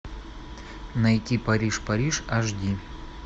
найти париж париж аш ди